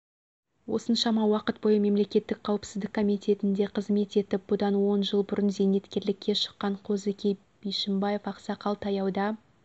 осыншама уақыт бойы мемлекеттік қауіпсіздік комитетінде қызмет етіп бұдан он жыл бұрын зейнеткерлікке шыққан қозыке бишімбаев ақсақал таяуда